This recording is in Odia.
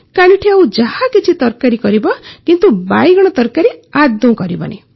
କାଲିଠୁ ଆଉ ଯାହାକିଛି ତରକାରୀ କରିବ କିନ୍ତୁ ବାଇଗଣ ତରକାରି କରିବନି